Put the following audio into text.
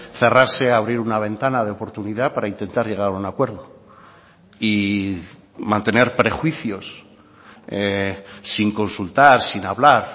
cerrarse a abrir una ventana de oportunidad para intentar llegar a un acuerdo y mantener prejuicios sin consultar sin hablar